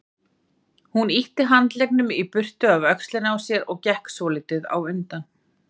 Hún ýtti handleggnum í burtu af öxlinni á sér og gekk svolítið á undan.